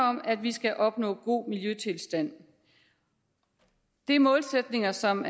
om at vi skal opnå god miljøtilstand det er målsætninger som